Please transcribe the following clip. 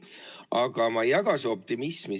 Aga ma ei jaga su optimismi.